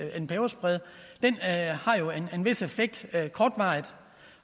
en peberspray har en vis effekt kortvarigt